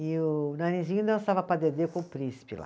E o, Narizinho dançava padedê com o príncipe lá.